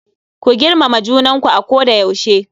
Ku girmama junanku a koda yaushe.